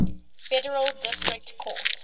federal district court